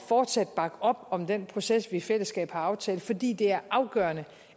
fortsat at bakke op om den proces vi i fællesskab har aftalt fordi det er afgørende